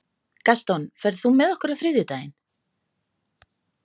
Gaston, ferð þú með okkur á þriðjudaginn?